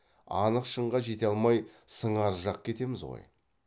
анық шынға жете алмай сыңар жақ кетеміз ғой